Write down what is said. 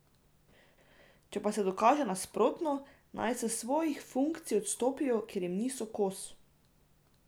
Če pa se dokaže nasprotno, naj s svojih funkcij odstopijo, ker jim niso kos!